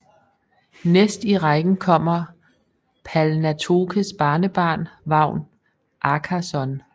Næst i rækken kommer Palnatokes barnebarn Vagn Ákason